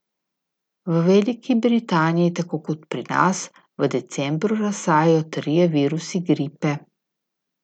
V Veliki Britaniji, tako kot pri nas, v decembru razsajajo trije virusi gripe.